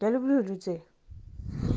я люблю детей